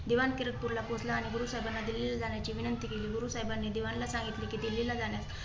दिवाण किरतपूरला पोहचला आणि गुरुसाहेबाना दिल्लीला जाण्याची विनंती केली. गुरुसाहेबानी दिवाणला सांगितले की दिल्लीला जाण्यास